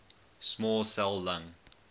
small cell lung